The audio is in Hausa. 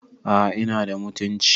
aa inada mutunci